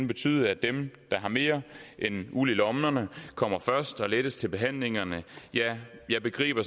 betyde at dem der har mere end uld i lommerne kommer først og lettest til behandlingerne ja jeg begriber